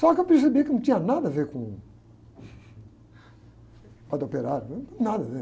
Só que eu percebi que não tinha nada a ver com, com a do operário, não tem nada a ver.